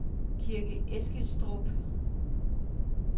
Kirke Eskilstrup